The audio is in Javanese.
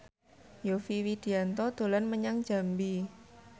Yovie Widianto dolan menyang Jambi